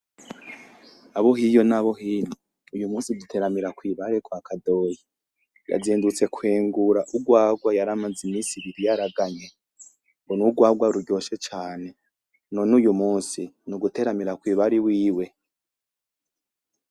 Abo hiyo n'abo hino, uyu musi duteramira kw'ibare kwa kadoyi, yazindutse kwengura urwarwa yaramaze imisi ibiri yaraganye, ngo n'urwarwa ruryoshe cane, none uyu musi n'uguteramira kw'ibare iwiwe.